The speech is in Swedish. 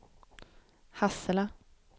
Hassela